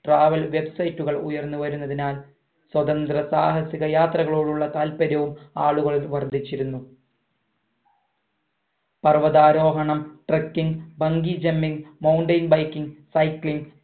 travel website കൾ ഉയർന്ന് വരുന്നതിനാൽ സ്വതന്ത്ര സാഹസിക യാത്രകളോടുള്ള താത്പര്യവും ആളുകളിൽ വർധിച്ചിരുന്നു പർവ്വതാരോഹണം trucking bangijumping mountain biking cycling